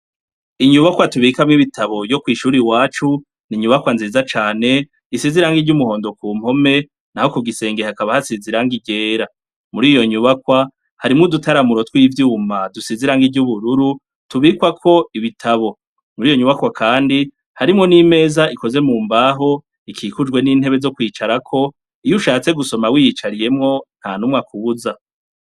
Inyubakwa tubikamwo ibitabu yo kwishure iwacu n'inyubakwa nziza cane isize irangi ryumuhondo kumpome naho kugisenge hakaba hasize irangi ryera, muriyo nyubakwa harimwo udutaramiro twivyuma dusize irangi ryubururu tubikwako ibitabo, muriyo nyubakwa kandi harimwo nimeza ikozwe mumbaho ikikujwe nintebe zo kwicarako iyo ushatse gusoma wiyicariyeho ntanumwe akubuza.